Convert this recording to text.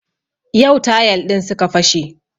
Yau tayal ɗin suka fashe